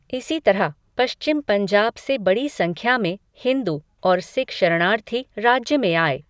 इसी तरह, पश्चिम पंजाब से बड़ी संख्या में हिंदू और सिख शरणार्थी राज्य में आए।